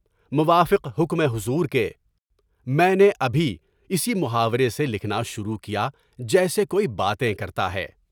موافق حکم حضور کے، میں نے ابھی اسی محاورے سے لکھنا شروع کیا جیسے کوئی باتیں کرتا ہے۔